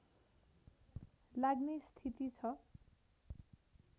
लाग्ने स्थिति छ